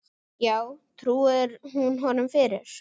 Já, trúir hún honum fyrir.